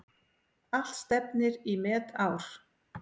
Allt stefnir í metár.